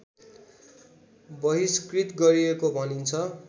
बहिष्कृत गरिएको भनिन्छ